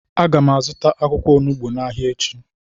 Agam azuta akwukwo onugbu n'Ahia echi.